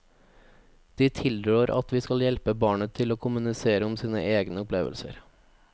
De tilrår at vi skal hjelpe barnet til å kommunisere om sine egne opplevelser.